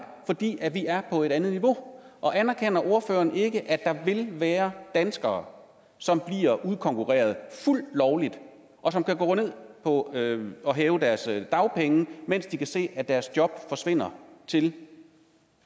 fordi vi er på et andet niveau og anerkender ordføreren ikke at der vil være danskere som bliver udkonkurreret fuldt lovligt og som kan gå ned og hæve og hæve deres dagpenge mens de kan se at deres job forsvinder til